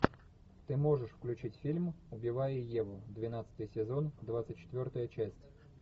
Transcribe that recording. ты можешь включить фильм убивая еву двенадцатый сезон двадцать четвертая часть